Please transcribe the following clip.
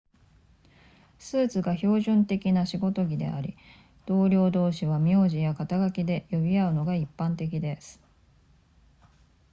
スーツが標準的な仕事着であり同僚同士は苗字や肩書きで呼び合うのが一般的です